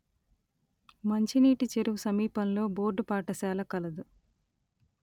మంచినీటి చెరువు సమీపంలో బోర్డు పాఠశాల కలదు